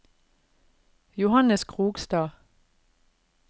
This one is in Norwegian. Johannes Krogstad